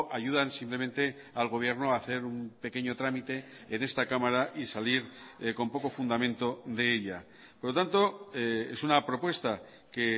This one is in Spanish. ayudan simplemente al gobierno a hacer un pequeño trámite en esta cámara y salir con poco fundamento de ella por lo tanto es una propuesta que